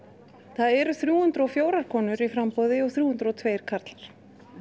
það eru þrjú hundruð og fjórar konur í framboði og þrjú hundruð og tveir karlar